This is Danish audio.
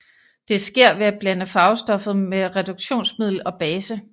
Det sker ved at blande farvestoffet med reduktionsmiddel og base